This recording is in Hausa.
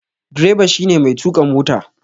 Direba shi ne mai tuƙa mota